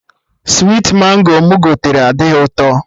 Switi Mango mụ gotere adịghị ụtọ